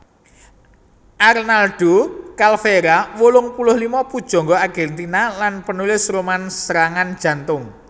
Arnaldo Calveyra wolung puluh lima pujangga Argèntina lan panulis roman serangan jantung